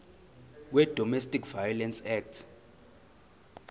wedomestic violence act